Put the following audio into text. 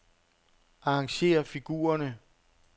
Arrangér figurerne.